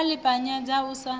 wa ḽi ṱapanyedza u sa